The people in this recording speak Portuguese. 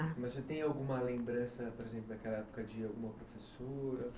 Mas você tem alguma lembrança, por exemplo, daquela época de alguma professora?